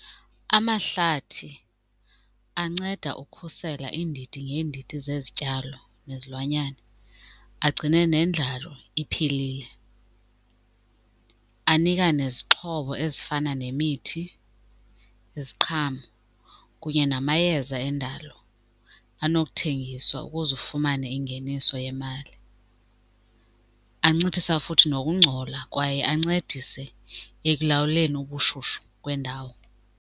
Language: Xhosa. Amahlathi anceda ukhusela iindidi ngeendidi zezityalo nezilwanyana, agcine nendlalo iphilile. Anika nezixhobo ezifana nemithi, iziqhamo kunye namayeza endalo anokuthengiswa ukuze ufumane ingeniso yemali. Anciphisa futhi nokungcola kwaye ancedise ekulawuleni ubushushu kwendawo.